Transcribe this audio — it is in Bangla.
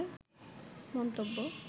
মন্তব্য